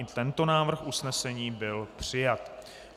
I tento návrh usnesení byl přijat.